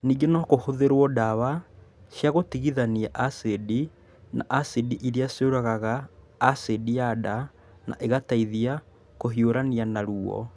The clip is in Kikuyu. Ningĩ no kũhũthĩrũo ndawa cia gũtigithania acidi na acidi iria ciũragaga acidi ya nda na igateithia kũhiũrania na ruo.